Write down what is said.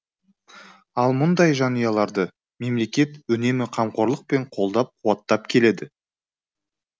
ал мұндай жанұяларды мемлекет үнемі қамқорлықпен қолдап қуаттап келеді